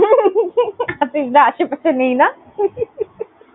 বাচ্চা কাচ্চা নেই না?